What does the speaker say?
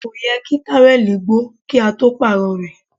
Kò yẹ kí táwẹ̀lì ó gbó kí a tó Pààrọ̀ rẹ̀